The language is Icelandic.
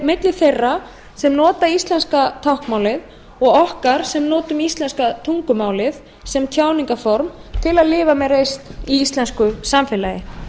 milli þeirra sem nota íslenska táknmálið og okkar sem notum íslenska tungumálið sem tjáningarform til að lifa með reisn í íslensku samfélagi